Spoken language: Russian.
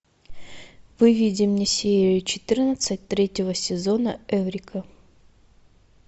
выведи мне серию четырнадцать третьего сезона эврика